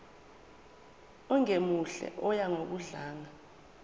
ongemuhle oya ngokudlanga